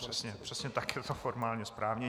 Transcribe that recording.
Přesně tak je to formálně správně.